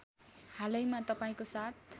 हालैमा तपाईँको साथ